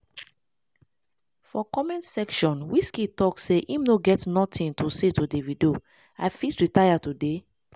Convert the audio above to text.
for comment section wqizkid tok say im no get notin to say to davido "i fit retire today